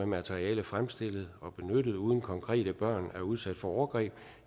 materiale fremstillet og benyttet uden at konkrete børn er udsat for overgreb